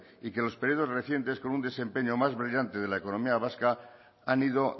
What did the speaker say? y que los periodos recientes con un desempeño más brillante de la económica vasca han ido